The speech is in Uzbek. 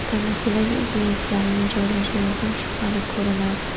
Tanasidagi igna izlarining joylashuvi ham shubhali ko‘rinardi.